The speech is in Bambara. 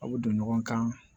Aw bɛ don ɲɔgɔn kan